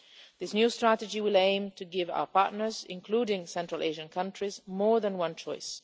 This new strategy will aim to give our partners, including Central Asian countries, more than one choice.